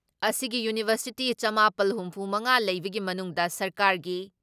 ꯑꯁꯤꯒꯤ ꯌꯨꯅꯤꯚꯔꯁꯤꯇꯤ ꯆꯃꯥꯄꯜ ꯍꯨꯝꯐꯨ ꯃꯉꯥ ꯂꯩꯕꯒꯤ ꯃꯅꯨꯡꯗ ꯁꯔꯀꯥꯔꯒꯤ